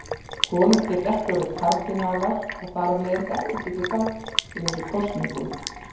Konur geta ekki orðið kardínálar og þar af leiðandi ekki tekið þátt í þessum kosningum.